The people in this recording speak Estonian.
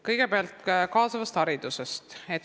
Kõigepealt kaasavast haridusest.